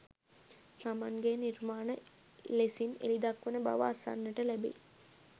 තමන්ගේ නිර්මාණ ලෙසින් එළි දක්වන බව අසන්නට ලැබෙයි.